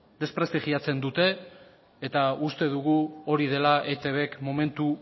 desprestigiatzen dute eta uste dugu hori dela etbk momentu